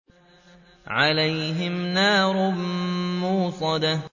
عَلَيْهِمْ نَارٌ مُّؤْصَدَةٌ